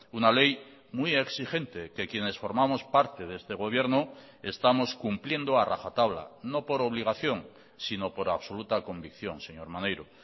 una ley muy exigente que quienes formamos parte de este gobierno estamos cumpliendo a rajatabla no por obligación sino por absoluta convicción señor maneiro